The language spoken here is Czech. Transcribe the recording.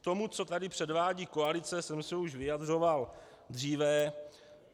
K tomu, co tady předvádí koalice, jsem se už vyjadřoval dříve.